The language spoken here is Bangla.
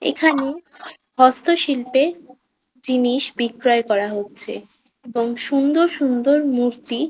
এ খানে হস্তশিল্পে জিনিস বিক্রয় করা হচ্ছে এবং সুন্দর সুন্দর মূর্তি।